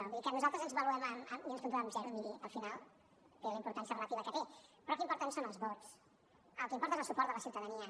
vull dir que nosaltres ens valorem i ens puntuem amb zero miri al final té la importància relativa que té però el que importen són els vots el que importa és el suport de la ciutadania